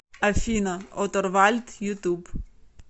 афина оторвальд ютуб